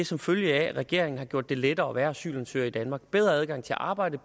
som følge af at regeringen har gjort det lettere at være asylansøger i danmark bedre adgang til at arbejde